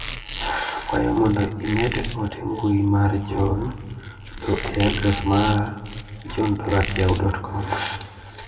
Akwayo mondo imed ote mbui mar John Doe e adres mara johndoe@yahoo.com